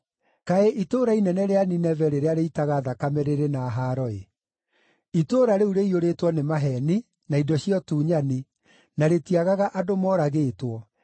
Kaĩ itũũra inene rĩa Nineve rĩrĩa rĩitaga thakame rĩrĩ na haaro-ĩ! Itũũra rĩu rĩiyũrĩtwo nĩ maheeni na indo cia ũtunyani, na rĩtiagaga andũ moragĩtwo.